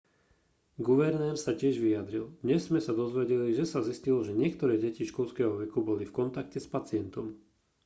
guvernér sa tiež vyjadril dnes sme sa dozvedeli že sa zistilo že niektoré deti školského veku boli v kontakte s pacientom